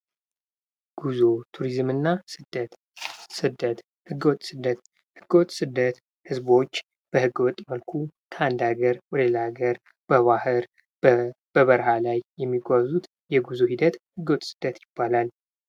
ጉዞ ፣ቱሪዝምና ስደት። ስደት ህገወጥ ስደት ሰዎች በህገ ወጥ መልኩ ከአንድ አገር ወደ ሌላ ሀገር በባህር በበረሃ ላይ የሚጓዙት የጉዞ ሂደት ህገ ወጥ ስደት ይባላል።